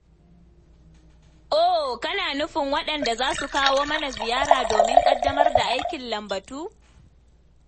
Oh kana nufin waɗanda za su kawo mana ziyara domin ƙaddamar da aikin lambatu?